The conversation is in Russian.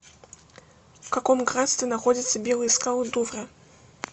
в каком графстве находятся белые скалы дувра